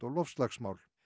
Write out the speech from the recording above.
loftslagsmál